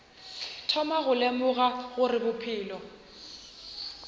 thoma go lemoga gore bophelo